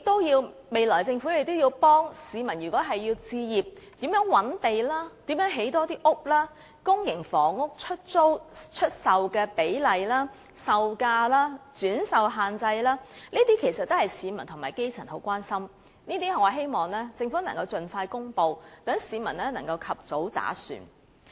若政府想幫助市民置業，如何覓地、如何多建房屋、公營房屋出售的比例、售價、轉售限制等，全部均是市民十分關注的問題，我希望政府能夠盡快公布，讓市民能夠及早打算。